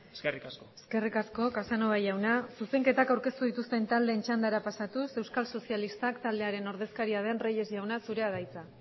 eskerrik asko eskerrik asko casanova jauna zuzenketak aurkeztu dituzten taldeen txandara pasatuz euskal sozialistak taldearen ordezkaria den reyes jauna zurea da hitza